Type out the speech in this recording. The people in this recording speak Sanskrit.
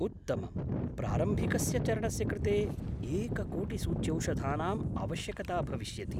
उत्तमम्। प्रारम्भिकस्य चरणस्य कृते एककोटिसूच्यौषधानाम् आवश्यकता भविष्यति।